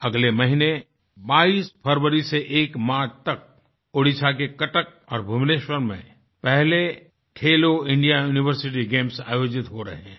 अगले महीने 22 फरवरी से 1 मार्च तक ओडिशा के कटक और भुवनेश्वर में पहले खेलो इंडिया यूनिवर्सिटी गेम्स आयोजित हो रहे हैं